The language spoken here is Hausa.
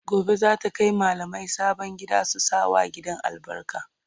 Gobe zata Kai mallamai sabon gidan su sa wa gidan albarka